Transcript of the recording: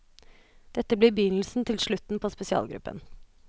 Dette blir begynnelsen til slutten på spesialgruppen.